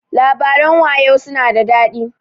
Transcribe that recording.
Labaran wayau su na da daɗi.